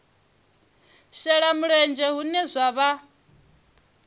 shela mulenzhe hune zwa vha